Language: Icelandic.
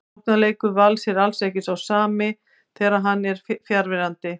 Sóknarleikur Vals er ekki sá sami þegar hann er fjarverandi.